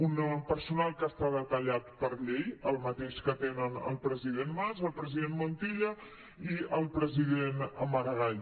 un personal que està detallat per llei el mateix que tenen el president mas el president montilla i el president maragall